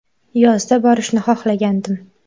Yozda borishni xohlagandim.